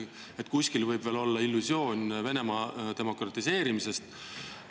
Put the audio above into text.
Kas kuskil võib veel olla illusioon Venemaa demokratiseerimisest?